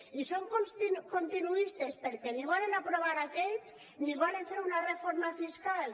i són continuistes perquè ni volen aprovar aquells ni volen fer una reforma fiscal